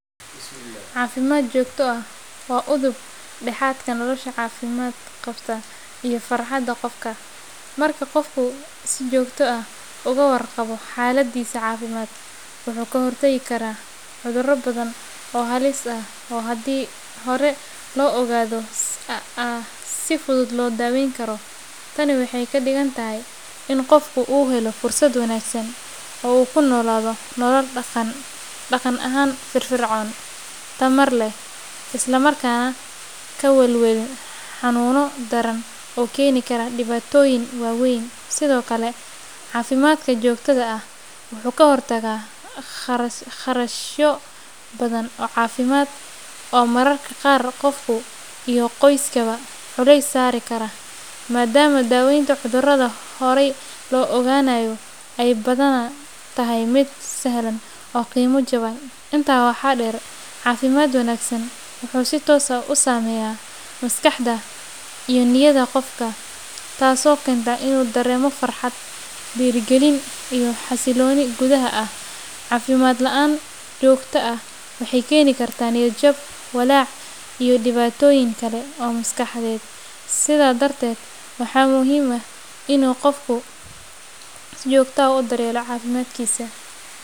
Caafimaad joogto ah waa udub dhexaadka nolosha caafimaad qabta iyo farxadda qofka. Marka qofku si joogto ah uga warqabo xaaladdiisa caafimaad, wuxuu ka hortagi karaa cuduro badan oo halis ah oo hadii hore loo ogaado si fudud loo daweyn karo. Tani waxay ka dhigan tahay in qofku uu helo fursad wanaagsan oo uu ku noolaado nolol dhaqan ahaan firfircoon, tamar leh, isla markaana aan ka welwelin xanuuno daran oo keeni kara dhibaatooyin waaweyn. Sidoo kale, caafimaadka joogtada ah wuxuu ka hortagaa kharashyo badan oo caafimaad oo mararka qaar qofka iyo qoyskaaba culays saari kara, maadaama daaweynta cudurada horay loo ogaanayo ay badanaa tahay mid sahlan oo qiimo jaban. Intaa waxaa dheer, caafimaad wanaagsan wuxuu si toos ah u saameeyaa maskaxda iyo niyadda qofka, taasoo keenta inuu dareemo farxad, dhiirrigelin, iyo xasilooni gudaha ah. Caafimaad la’aan joogto ah waxay keeni kartaa niyad-jab, walaac, iyo dhibaatooyin kale oo maskaxeed. Sidaa darteed, waxaa muhiim ah in qofku uu si joogto ah u daryeelo caafimaadkiisa.